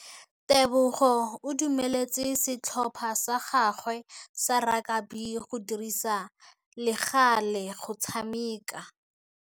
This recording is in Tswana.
Tebogô o dumeletse setlhopha sa gagwe sa rakabi go dirisa le galê go tshameka.